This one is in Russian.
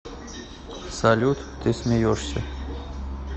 салют ты смеешься